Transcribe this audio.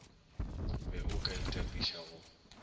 be o ka itapiša go